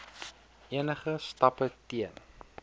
enige stappe teen